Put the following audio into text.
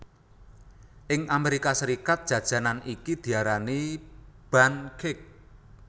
Ing Amerika Serikat jajanan iki diarani Bundt Cake